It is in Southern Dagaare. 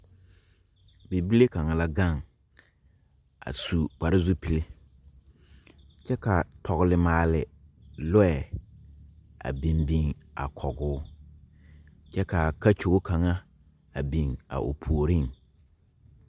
Bibile kaŋa la gaŋ, a su kpare-zupile, kyԑ kaa tͻgele maale lͻԑ a biŋ biŋ a kͻge o. kyԑ kaa a kakyogo kaŋa a biŋ a o puoriŋ.